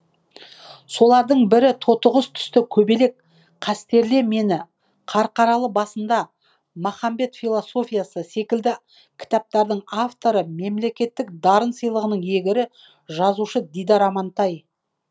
солардың бірі тотықұс түсті көбелек қастерле мені қарқаралы басында махамбет философиясы секілді кітаптардың авторы мемлекеттік дарын сыйлығының иегері жазушы дидар амантай